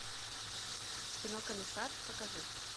кино комиссар покажи